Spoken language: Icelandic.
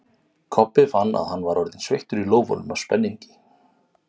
Kobbi fann að hann var orðinn sveittur í lófunum af spenningi.